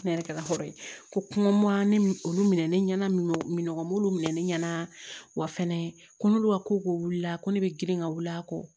Ne yɛrɛ kɛla hɔrɔn ye ko kuma ne olu minɛ ne ɲɛna min ne ɲɛna wa fɛnɛ ko nlu ka koko wulila ko ne bɛ girin ka wuli a kɔ